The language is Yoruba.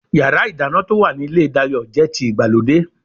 Yàrá-ìdáná to wa ní ilé Dayo jẹ́ ti ìgbàlódé